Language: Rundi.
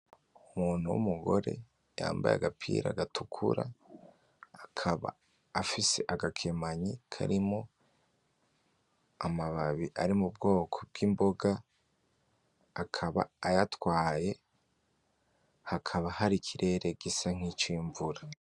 Umuntu w'umugore yambaye agapira gatukura, akaba afise agakemanyi karimwo amababi ari mubwoko bwimboga, akaba ayatwaye, hakaba hari ikirere gisa nkicimvura.